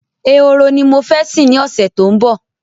Ehoro ni mo fẹ́ sìn ní ọ̀sẹ̀ tó ń bọ̀